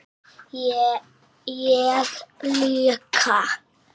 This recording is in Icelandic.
Ég líka.